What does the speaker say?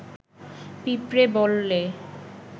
পিঁপড়ে বললে